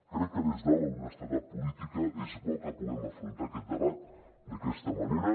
crec que des de l’honestedat política és bo que puguem afrontar aquest debat d’aquesta manera